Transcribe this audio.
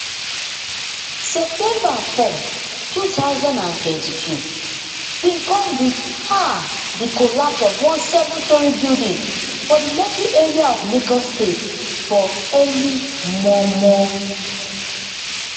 september four two thousand and twenty-two bin come wit um di collapse of one seven storey building for di lekki area of lagos state for early mormor